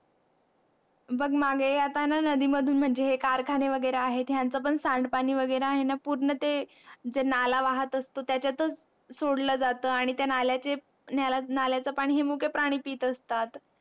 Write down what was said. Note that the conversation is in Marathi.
हे बघ मागे आता न नदी मधून म्हणजे कारखाने वैगरे आहेत यांचं पण सांड पाणी वैगेरा आहे न पूर्ण जे नाला वाहत असतो त्याच्यातच सोडलं जात आणि त्या नाल्याचे नाल्याचे पाणी हे मुके प्राणी पीत असतात